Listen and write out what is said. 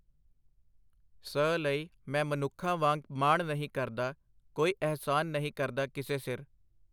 ਸ ਲਈ ਮੈ ਮਨੁੱਖਾਂ ਵਾਂਗ ਮਾਣ ਨਹੀ ਕਰਦਾ , ਕੋਈ ਅਹਿਸਾਨ ਨਹੀ ਕਰਦਾ ਕਿਸੇ ਸਿਰ .